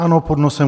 ANO pod nosem.